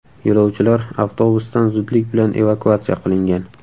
Yo‘lovchilar avtobusdan zudlik bilan evakuatsiya qilingan.